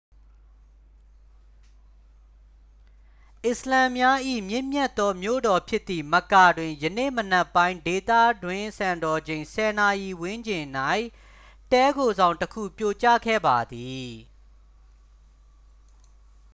အစ္စလာမ်များ၏ မြင့်မြတ်သောမြို့တော်ဖြစ်သည့် မက္ကာ တွင် ယနေ့မနက်ပိုင်း ဒေသတွင်းစံတော်ချိန် 10 နာရီဝန်းကျင်၌ တည်းခိုဆောင်တစ်ခု ပြိုကျခဲ့ပါသည်